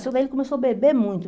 Só que aí ele começou a beber muito.